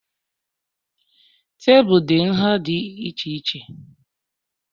Tebụl dị nha dị iche iche